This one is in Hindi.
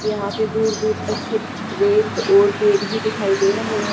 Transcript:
यहां पे दूर दूर तक सिर्फ रेत और पेड़ ही दिखाई दे रहे हैं।